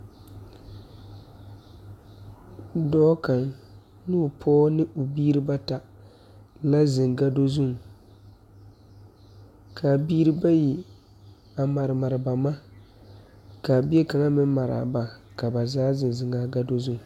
Dɔɔ kaŋ noo pɔɔ ne o biire bata la zeŋ gado zuŋ kaa biire bayi a mare mare ba ma kaa bie kaŋa meŋ maraa ba ka ba zaa zeŋ zeŋaa gado zu.